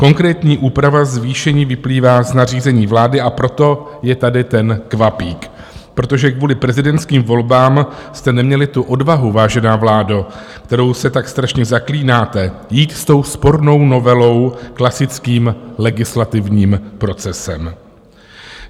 Konkrétní úprava zvýšení vyplývá z nařízení vlády, a proto je tady ten kvapík, protože kvůli prezidentským volbám jste neměli tu odvahu, vážená vládo, kterou se tak strašně zaklínáte, jít s tou spornou novelou klasickým legislativním procesem.